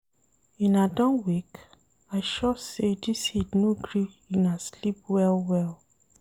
Una done wake? I sure sey dis heat no gree una sleep well-well.